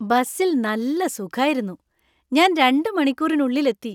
ബസിൽ നല്ല സുഖായിരുന്നു , ഞാൻ രണ്ട് മണിക്കൂറിനുള്ളിൽ എത്തി.